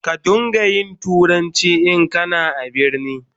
Ka don ga yin turanci in kana a birni.